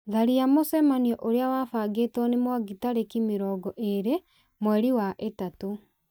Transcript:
tharia mũcemanio ũria wabangĩtwo nĩ mwangi tarĩki mĩrongo ĩrĩ mweri wa ĩtatũ